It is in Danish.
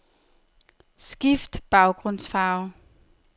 Skift baggrundsfarve.